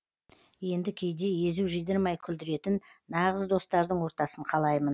енді кейде езу жидырмай күлдіретін нағыз достардың ортасын қалаймын